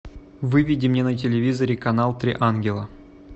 выведи мне на телевизоре канал три ангела